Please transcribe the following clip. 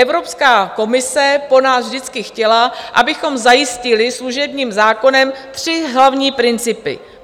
Evropská komise po nás vždycky chtěla, abychom zajistili služebním zákonem tři hlavní principy.